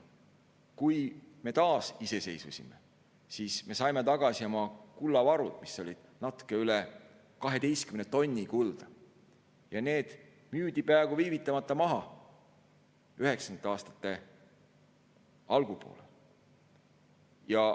Kui me taasiseseisvusime, siis me saime tagasi oma kullavarud – natuke üle 12 tonni kulda –, ja need müüdi peaaegu viivitamata maha 1990. aastate algupoolel.